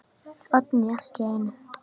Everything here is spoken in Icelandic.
Oddný allt í einu.